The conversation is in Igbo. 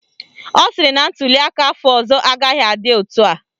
Ọ sịrị na ntuliaka afọ ọzọ agaghị adị etu a